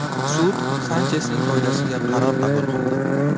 Sud Sanchesning foydasiga qaror qabul qildi.